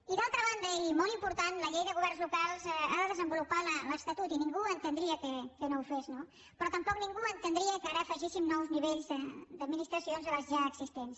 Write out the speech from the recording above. i d’altra banda i molt important la llei de governs locals ha de desenvolupar l’estatut i ningú entendria que no ho fes no però tampoc ningú entendria que ara afegíssim nous nivells d’administracions a les ja existents